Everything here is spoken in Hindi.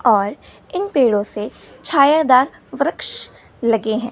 और इन पेड़ों से छायादार वृक्ष लगे हैं।